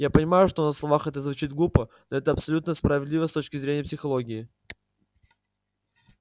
я понимаю что на словах это звучит глупо но это абсолютно справедливо с точки зрения психологии